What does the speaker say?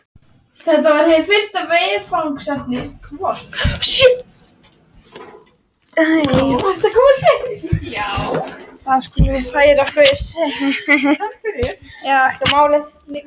Hef heldur aldrei trúað því að reynslan sé þroskandi.